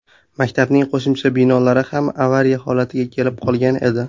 Maktabning qo‘shimcha binolari ham avariya holatiga kelib qolgan edi.